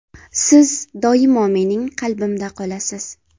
Siz doimo mening qalbimda qolasiz.